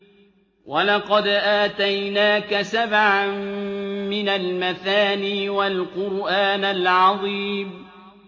وَلَقَدْ آتَيْنَاكَ سَبْعًا مِّنَ الْمَثَانِي وَالْقُرْآنَ الْعَظِيمَ